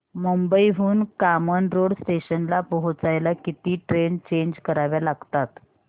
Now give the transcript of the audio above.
मुंबई हून कामन रोड स्टेशनला पोहचायला किती ट्रेन चेंज कराव्या लागतात